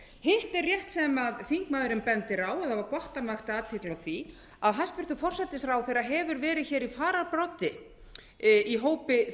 hitt er rétt sem þingmaðurinn bendir á og það var gott að hann vakti athygli á því að hæstvirtur forsætisráðherra hefur verið í fararbroddi í hópi